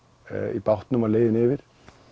í bátnum á leiðinni yfir